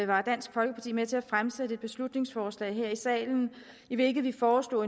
var dansk folkeparti med til at fremsætte et beslutningsforslag her i salen i hvilket vi foreslog